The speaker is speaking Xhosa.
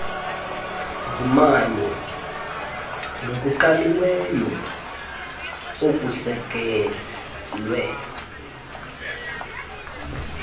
zimanye nokuqaliweyo okusekelwe